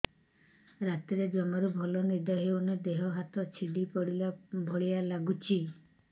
ରାତିରେ ଜମାରୁ ଭଲ ନିଦ ହଉନି ଦେହ ହାତ ଛିଡି ପଡିଲା ଭଳିଆ ଲାଗୁଚି